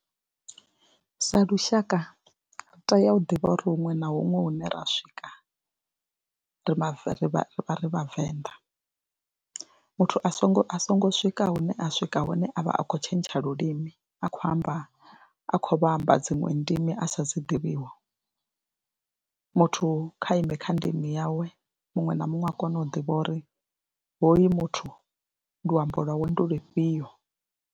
Sa lushaka ri tea u ḓivha uri huṅwe na huṅwe hune ra swika ra mave ri vha, ri vhavenḓa, muthu a songo a songo swika hune a swika hune a vha a khou tshentsha lulimi a khou amba a khou vha amba dziṅwe ndimi a sa dzi ḓivhiwiho, muthu kha ime kha ndimi yawe, muṅwe na muṅwe a kone u ḓivha uri hoyu muthu ndi luamba lwawe ndi lufhio.